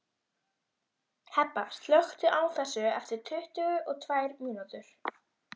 Hebba, slökktu á þessu eftir tuttugu og tvær mínútur.